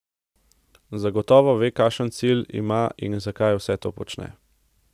Zagotovo ve, kakšen cilj ima in zakaj vse to počne.